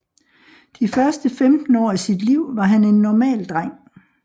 De første 15 år af sit liv var han en normal dreng